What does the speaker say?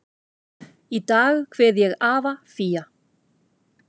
Í dag kveð ég afa Fía.